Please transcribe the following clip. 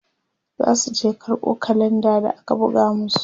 zasu je karɓo kalenda da aka buga masu